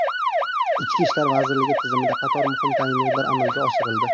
Ichki ishlar vazirligi tizimida qator muhim tayinlovlar amalga oshirildi.